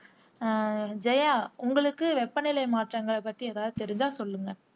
ஆஹ் ஜெயா உங்களுக்கு வெப்ப நிலை மாற்றங்களை பத்தி எதாவது தெரிஞ்சா சொல்லுங்க